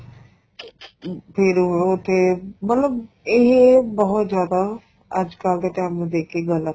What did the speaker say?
ਫੇਰ ਉਹਨੂੰ ਤੇ ਮਤਲਬ ਇਹ ਬਹੁਤ ਜਿਆਦਾ ਅੱਜਕਲ ਦੇ time ਨੂੰ ਦੇ ਕੇ ਗਲਤ ਏ